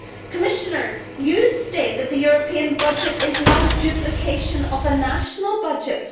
Commissioner, you state that the European budget is not a duplication of a national budget.